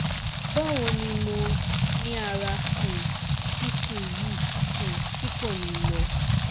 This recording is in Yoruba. bawo ni mo niara um sisu yi um ti ko ni lọ